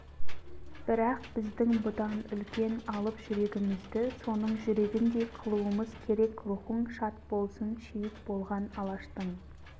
бірақ біздің бұдан үлкен алып жүрегімізді соның жүрегіндей қылуымыз керек рухың шат болсын шейіт болған алаштың